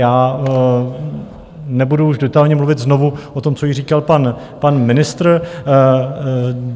Já nebudu už detailně mluvit znovu o tom, co již říkal pan ministr.